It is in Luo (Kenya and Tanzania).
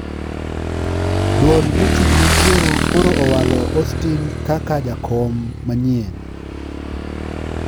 Duol mochung` ne yiero koro owalo Austine kaka Jakom manyien